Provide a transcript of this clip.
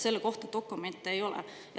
Selle kohta dokumente ei ole.